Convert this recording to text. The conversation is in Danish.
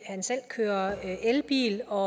at han selv kører elbil og